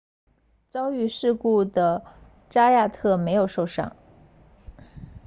遭遇事故的扎亚特没有受伤